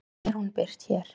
Því er hún birt hér.